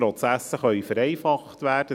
Die Prozesse können vereinfacht werden.